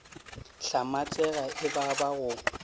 hlamatsega e ba ba go